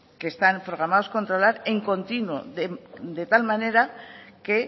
que están programados controlar en continuo de tal manera que